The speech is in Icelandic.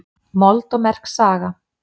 Mold og merk saga